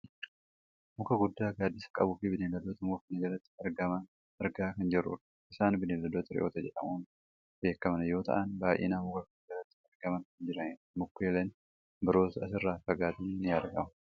muka guddaa gaaddisa qabu fi bineeldota muka kana jalatti argaman argaa kan jirrudha. isaani bineeldota re'oota jedhamuun beekkaman yoo ta'an baayyinaan muka kana jalatti argamaa kan jiranidha. mukeeliin biroos asirraa fagaatanii ni argamu.